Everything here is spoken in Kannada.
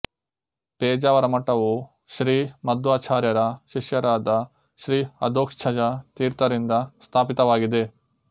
ಪೇಜಾವರ ಮಠವು ಶ್ರೀ ಮದ್ವಾಚಾರ್ಯರ ಶಿಷ್ಯರಾದ ಶ್ರೀ ಅಧೋಕ್ಷಜ ತೀರ್ಥರಿಂದ ಸ್ಥಾಪಿತವಾಗಿದೆ